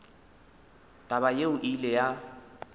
taba yeo e ile ya